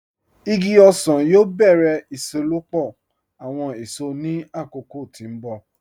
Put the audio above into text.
Igi ọsan yóò bẹ̀rẹ̀ iṣelọ́pọ̀ awọn èṣò ní akókò tí n bọ̀.